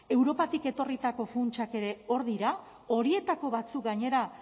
europatik etorritako funtsak ere hor dira horietako batzuk gainera